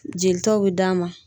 Jelitaw bɛ d'an ma.